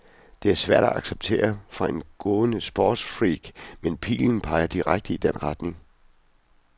Det er svært at acceptere for en grånende sportsfreak, men pilen peger direkte i den retning.